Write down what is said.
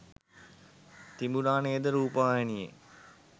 තිබුණා නේද රූපවාහිනියේ?